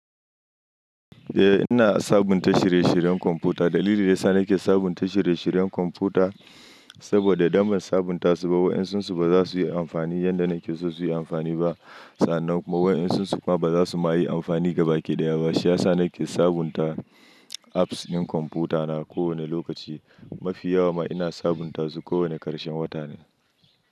Eh ina sabunta shirye-shiryen kwamfuta. Dalili da ya sa nake sabunta shirye-shiryen kwamfuta saboda idan ban sabunta su ba, wa'insu su ba za su yi amfani yanda nake so su yi amfani ba. Sannan kuma wa'insu su kuma ba za su ma yi amfani gaba ɗaya ba. Shi ya sa nake sabunta apps ɗin kwamfutana kowane lokaci. Mafi yawa ma ina sabunta su kowane ƙarshen wata ne.